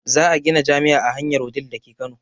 Za a gina jami'a a hanyar wudil dake kano